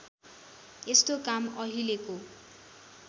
यस्तो काम अहिलेको